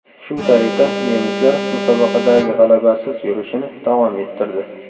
Shu tariqa nemislar musobaqadagi g‘alabasiz yurishini davom ettirdi.